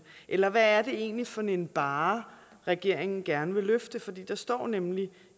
eller hvad er det egentlig for en barre regeringen gerne vil løfte for der står nemlig